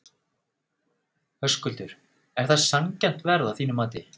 Höskuldur: Er það sanngjarnt verð að þínu mati?